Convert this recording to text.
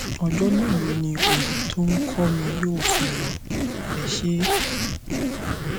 ọjọ mélòó ni òòyì tó nh kọ mi yóò fi lọ ẹ ṣé